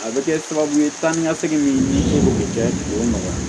A bɛ kɛ sababu ye taa ni ka segin min bɛ kɛ k'o nɔgɔya